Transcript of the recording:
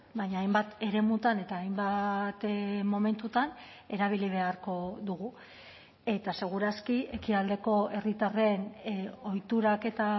baina hainbat eremutan eta hainbat momentutan erabili beharko dugu eta seguraski ekialdeko herritarren ohiturak eta